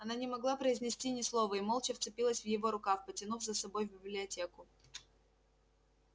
она не могла произнести ни слова и молча вцепилась в его рукав потянув за собой в библиотеку